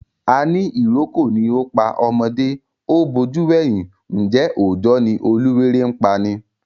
Àní ìrókò ni ó pá ọmọdé, ó bojú wẹ̀yìn, ǹjẹ́ òojọ́ ni oluwéré ń pani?